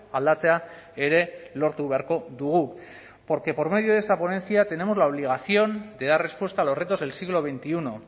aldatzea ere lortu beharko dugu porque por medio de esta ponencia tenemos la obligación de dar respuesta a los retos del siglo veintiuno